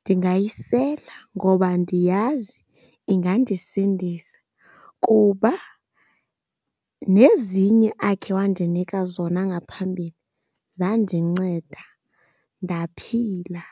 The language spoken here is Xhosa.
ndingayisela ngoba ndiyazi ingandisindisa kuba nezinye akhe wandinika zona ngaphambili zandinceda ndaphila.